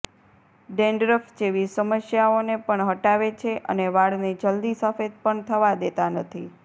dandruff જેવી સમસ્યાઓને પણ હટાવે છે અને વાળને જલ્દી સફેદ પણ થવા દેતા નથી